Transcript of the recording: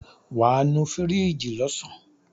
Wàá nu fíríjì lọ́sàn.